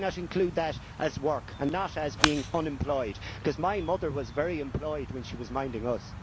Why not include that as work and not as being unemployed? because my mother was very employed when she was minding us.